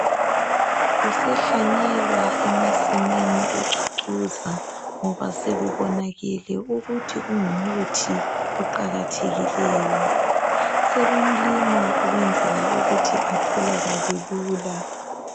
Usehlanyelwa emasimini ucucuza ngoba sekubonakele ukuthi ungumuthi oqakathekileyo, sebemlima kwenzela ukuthi atholakala lula.